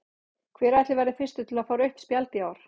Hver ætli verði fyrstur til að fá rautt spjald í ár?